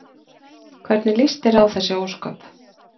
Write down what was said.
Hvernig líst þér á þessi ósköp?